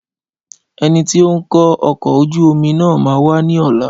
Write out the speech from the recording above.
Ẹnití ó ń kó ọkọ̀ ojú omi náà máa wá ní ọ̀la